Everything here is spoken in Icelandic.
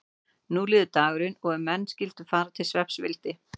Nú líður dagurinn og er menn skyldu fara til svefns vildi